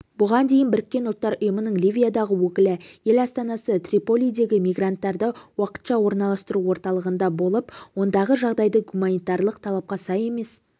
бұған дейін біріккен ұлттар ұйымының ливиядағы өкілі ел астанасы триполидегі мигранттарды уақытша орналастыру орталығында болып ондағы жағдайды гуманитарлық талапқа сай емес